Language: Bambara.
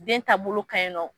Den taabolo ka ɲi nɔ.